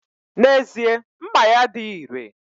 N'ezie, mma ya adighi ire